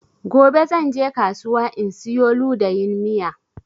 Gobe zan je kasuwa in siyo ludayin miya